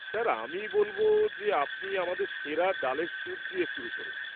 Sir, আমি বলব যে আপনি আমাদের সেরা ডালের সূপ দিয়ে শুরু করুন।